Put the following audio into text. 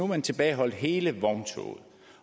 man tilbageholdt hele vogntoget